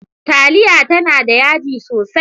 Taliya tana da yaji sosai.